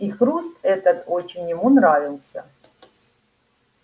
и хруст этот очень ему нравился